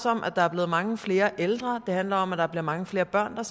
om at der er blevet mange flere ældre og det handler om at der bliver mange flere børn og